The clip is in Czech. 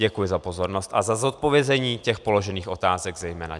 Děkuji za pozornost a za zodpovězení těch položených otázek zejména.